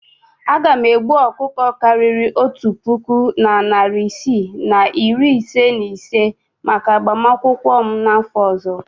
Aga m egbu ọkụkọ karịrị otu puku na narị isii na iri ise na ise maka agbamakwụkwọ m n'afọ ọzọ.